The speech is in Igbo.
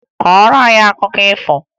Kọọrọ anyị akụkọ ifo!